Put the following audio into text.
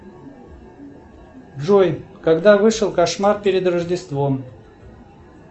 джой когда вышел кошмар перед рождеством